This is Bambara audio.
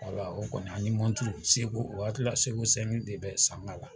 Ayiwa o kɔnni, an ye mɔnturu seko o waati la seko de bɛ sanga la.